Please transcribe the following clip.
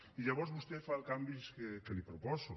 i llavors vostè fa els canvis que li proposo